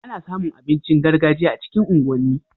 Ana samu abincin gargajiya a cikin unguwan ni